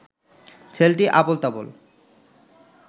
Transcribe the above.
ছেলেটি আবোল তাবোল